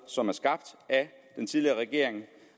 som er skabt af den tidligere regering